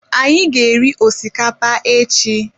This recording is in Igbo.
Anyị ga-eri osikapa echi